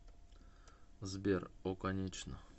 сбер о конечно